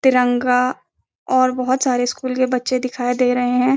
तिरंगा और बहुत सारे स्कूल के बच्चे दिखाई दे रहे हैं।